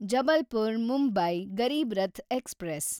Jabalpur Mumbai Garib Rath express